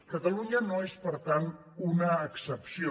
catalunya no és per tant una excepció